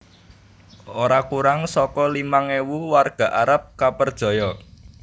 Ora kurang saka limang ewu warga Arab kapperjaya